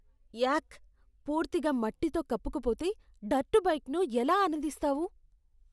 యాక్. పూర్తిగా మట్టితో కప్పుకుపోతే, డర్ట్ బైకింగ్ను ఎలా ఆనందిస్తావు?